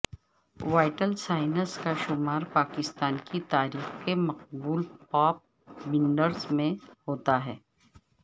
vital signs کا شمار پاکستان کی تاریخ کے مقبول پاپ بینڈز میں ہوتا ہے